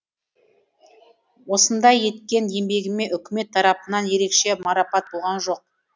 осындай еткен еңбегіме үкімет тарапынан ерекше марапат болған жоқ